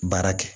Baara kɛ